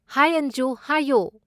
ꯍꯥꯏ ꯑꯟꯖꯨ! ꯍꯥꯏꯌꯣ꯫